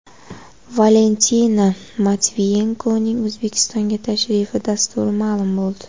Valentina Matviyenkoning O‘zbekistonga tashrifi dasturi ma’lum bo‘ldi.